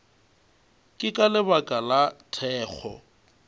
ke ka lebaka la thekgo